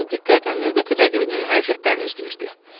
Tarzan diqqətlə növbəti rəqibinin hərəkətlərini izləyirdi.